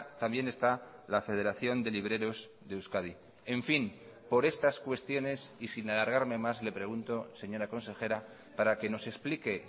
también está la federación de libreros de euskadi en fin por estas cuestiones y sin alargarme más le pregunto señora consejera para que nos explique